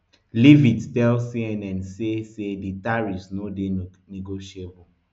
leavitt tell cnn say say di tariffs no dey negotiable